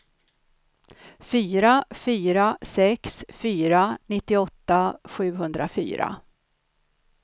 fyra fyra sex fyra nittioåtta sjuhundrafyra